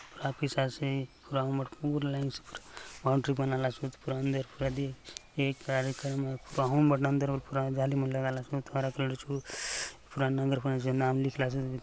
ऑफिस आसे पूरा स्कूल ने बॉउंड्री बनालोसोत पूरा अंदर अंदर ने पूरा जाली मन लगालासोत हरा पेड़ चो पूरा नगर पंचायत नाम लिखला सोत।